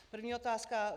První otázka.